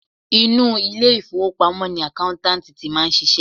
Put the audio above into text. Inú ilé ìfowópamọ́ ni accountant ti máa ń ṣiṣẹ́.